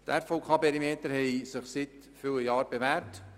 Die RVKPerimeter haben sich seit vielen Jahren bewährt;